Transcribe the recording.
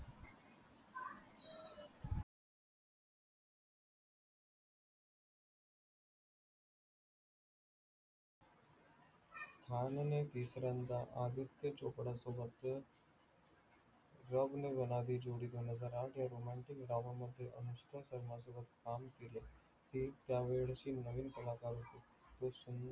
खानने तिसऱ्यांदाआदित्य चोप्रा सोबत रब ने बना दि जोडी दोन हजार आठ या romantic drama मध्ये अनुष्का शर्मा सोबत काम केले, हि त्यावेळेची नवीन कलाकार होती.